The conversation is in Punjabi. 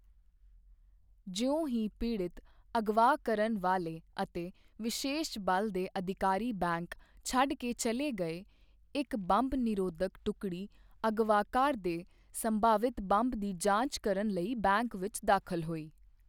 ਜਿਉਂ ਹੀ ਪੀੜਤ, ਅਗਵਾ ਕਰਨ ਵਾਲੇ ਅਤੇ ਵਿਸ਼ੇਸ਼ ਬਲ ਦੇ ਅਧਿਕਾਰੀ ਬੈਂਕ ਛੱਡ ਕੇ ਚਲੇ ਗਏ, ਇੱਕ ਬੰਬ ਨਿਰੋਧਕ ਟੁਕੜੀ ਅਗਵਾਕਾਰ ਦੇ ਸੰਭਾਵਿਤ ਬੰਬ ਦੀ ਜਾਂਚ ਕਰਨ ਲਈ ਬੈਂਕ ਵਿੱਚ ਦਾਖਲ ਹੋਈ।